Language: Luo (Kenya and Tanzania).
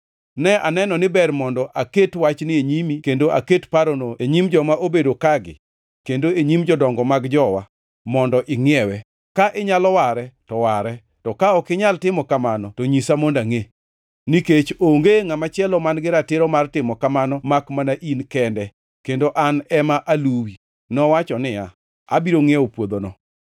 Ne aneno ni ber mondo aket wachni e nyimi kendo aket parono e nyim joma obedo kagi kendo e nyim jodongo mag jowa, mondo ingʼiewe. Ka inyalo ware to ware, to ka ok inyal timo kamano to nyisa mondo angʼe. Nikech onge ngʼama chielo man-gi ratiro mar timo kamano makmana in kende, kendo an ema aluwi.” Nowacho niya, “Abiro ngʼiewo puodhono.”